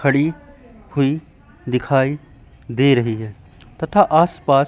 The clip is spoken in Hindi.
खड़ी हुई दिखाई दे रही है तथा आसपास--